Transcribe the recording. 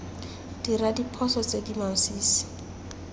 dira diphoso tse di masisi